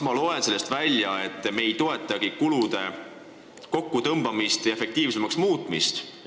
Ma loen sellest välja, et me ei toetagi kulude kokkutõmbamist ja efektiivsemaks muutmist.